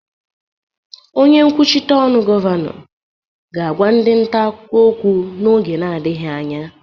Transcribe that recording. Onye nkwuchite ọnụ Gọvanọ ga-agwa ndị nta akụkọ okwu n'oge na-adịghị anya